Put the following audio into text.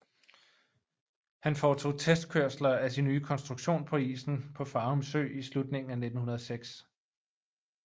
Han foretog testkørsler af sin nye konstruktion på isen på Farum Sø i slutningen af 1906